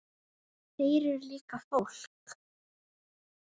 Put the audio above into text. Þeir eru líka fólk.